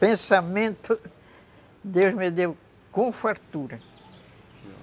Pensamento, Deus me deu com fartura.